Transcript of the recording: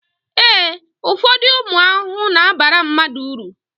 ee, ụfọdụ ụmụ ahụhụ na-abara mmadụ uru